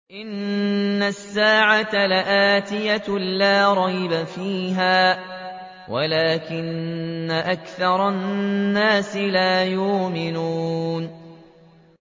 إِنَّ السَّاعَةَ لَآتِيَةٌ لَّا رَيْبَ فِيهَا وَلَٰكِنَّ أَكْثَرَ النَّاسِ لَا يُؤْمِنُونَ